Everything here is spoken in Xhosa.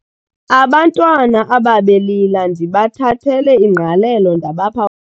Abantwana abebelila ndibathathele ingqalelo ndabapha.